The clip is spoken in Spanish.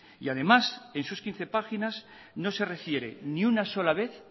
y además en sus quince páginas no se refiere ni una sola vez